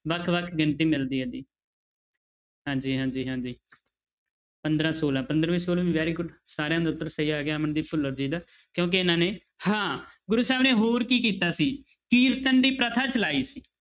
ਵੱਖ ਵੱਖ ਗਿਣਤੀ ਮਿਲਦੀ ਹੈ ਜੀ ਹਾਂਜੀ ਹਾਂਜੀ ਹਾਂਜੀ ਪੰਦਰਾਂ ਛੋਲਾਂ ਪੰਦਰਵੀਂ ਛੋਲਵੀਂ very good ਸਾਰਿਆਂ ਦਾ ਉੱਤਰ ਸਹੀ ਆ ਗਿਆ ਅਮਨਦੀਪ ਭੁੱਲਰ ਜੀ ਦਾ ਕਿਉਂਕਿ ਇਹਨਾਂ ਨੇ ਹਾਂ ਗੁਰੂੂ ਸਾਹਿਬ ਨੇ ਹੋਰ ਕੀ ਕੀਤਾ ਸੀ ਕੀਰਤਨ ਦੀ ਪ੍ਰਥਾ ਚਲਾਈ ਸੀ।